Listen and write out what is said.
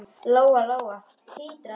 Lóa-Lóa titraði öll.